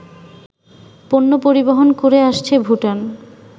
পণ্য পরিবহন করে আসছে ভুটান